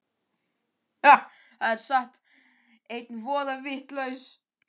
Það er satt. einn voða vitlaus!